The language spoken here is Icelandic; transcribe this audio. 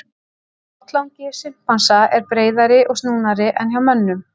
Botnlangi simpansa er breiðari og snúnari en hjá mönnum.